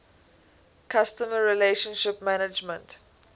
customer relationship management